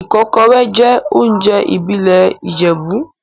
Ikokore jẹ́ oúnjẹ ìbílẹ̀ Ìjẹ̀bú.